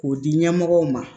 K'o di ɲɛmɔgɔw ma